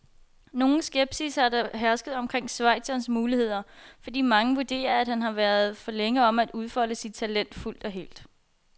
Nogen skepsis har der hersket omkring schweizerens muligheder, fordi mange vurderer, at han har været for længe om at udfolde sit talent fuldt og helt.